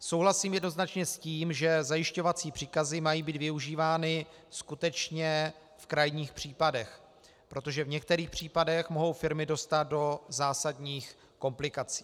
Souhlasím jednoznačně s tím, že zajišťovací příkazy mají být využívány skutečně v krajních případech, protože v některých případech mohou firmy dostat do zásadních komplikací.